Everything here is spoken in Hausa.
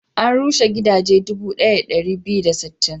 An rushe gidaje dubu ɗaya da ɗari biyu da sittin.